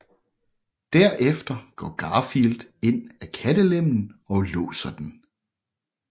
Derefter går Garfield ind af kattelemmen og låser den